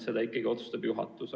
Seda ikkagi otsustab juhatus.